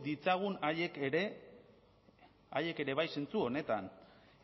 ditzagun haiek ere haiek ere bai zentzu honetan